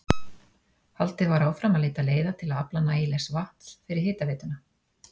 Haldið var áfram að leita leiða til að afla nægilegs vatns fyrir hitaveituna.